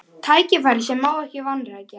Tækifæri sem ekki má vanrækja